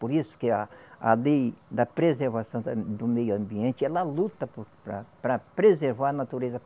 Por isso que a a lei da preservação da do meio ambiente, ela luta por para para preservar a natureza.